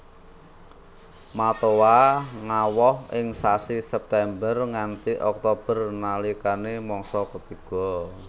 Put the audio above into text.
Matoa ngawoh ing sasi September nganti Oktober nalikane mangsa ketiga